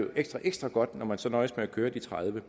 ekstra ekstra godt når man så nøjes med at køre de tredive